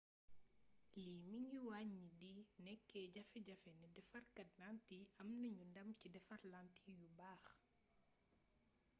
lii mi ngi wàññi di nekk jafe jafe ne defarkaat lantiy am nanu ndam ci defar lantiy yu baax